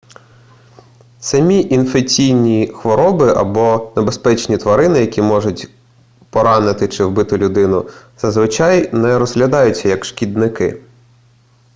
самі інфекційні хвороби або небезпечні тварини які можуть поранити чи вбити людину зазвичай не розглядаються як шкідники